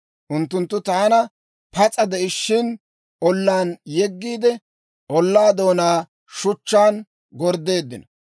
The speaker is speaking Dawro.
Unttunttu taana pas'a de'ishiina ollaan yeggiide, ollaa doonaa shuchchaan gorddeeddino.